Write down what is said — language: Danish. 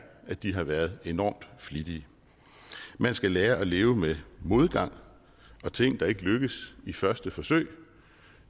at de har været enormt flittige man skal lære at leve med modgang og ting der ikke lykkes i første forsøg